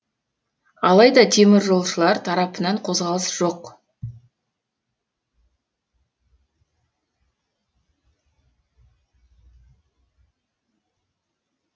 алайда теміржолшылар тарапынан қозғалыс жоқ